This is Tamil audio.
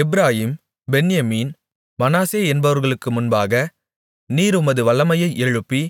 எப்பிராயீம் பென்யமீன் மனாசே என்பவர்களுக்கு முன்பாக நீர் உமது வல்லமையை எழுப்பி